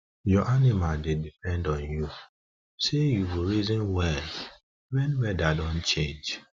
your animals dey depend on you say you go reason well wen weada don change